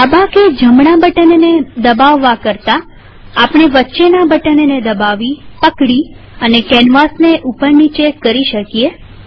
ડાબા કે જમના બટનને દબાવવા કરતાઆપણે વચ્ચેના બટનને દબાવીપકડી અને કેનવાસ ને ઉપર નીચે કરી શકીએ